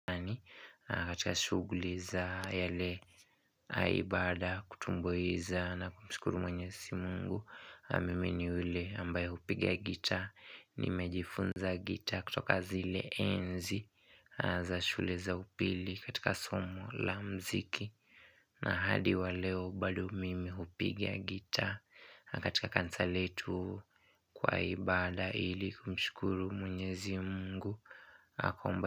Katika shuguli za yale ibada kutumbuiza na kumshukuru mwenyezi mungu Mimi ni yule ambaye hupigia gita Nimejifunza gita kutoka zile enzi za shule za upili katika somo la mziki na hadi wa leo bado mimi hupiga gita katika kanisa letu kwa ibada ili kumshukuru mwenyezi mungu kwamba.